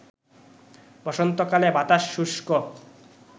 বসন্তকালে বাতাস শুষ্ক